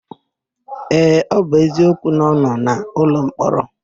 Ee, ọ bụ eziokwu na ọ nọ n'ụlọmkpọrọ.